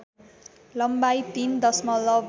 लम्बाइ ३ दशमलव